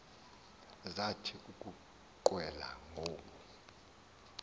zathi ukuqwela ngoku